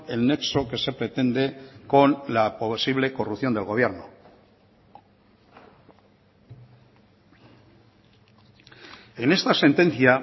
el nexo que se pretende con la posible corrupción del gobierno en esta sentencia